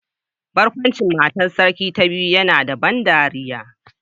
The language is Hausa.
Barkwancin matar sarki ta biyu yana da ban dariya